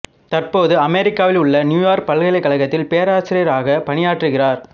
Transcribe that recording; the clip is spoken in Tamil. தற்போது அமெரிக்காவில் உள்ள நியூயார்க் பல்கலைக் கழகத்தில் பேராசிரியராக பணியாற்றுகிறார்